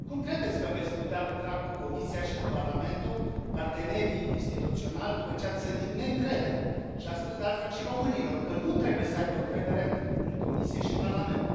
Cum credeți că veți putea lucra cu Comisia și cu Parlamentul, partenerii instituționali, după ce ați sădit neîncredere și ați spus, de altfel, și românilor că nu trebuie să aibă încredere în Comisie și în Parlament?